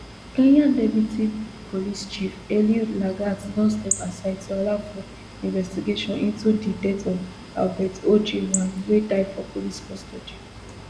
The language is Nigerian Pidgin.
kenya deputy police chief eliud lagat don step aside to allow for investigation into di death of albert ojwang wey die for police custody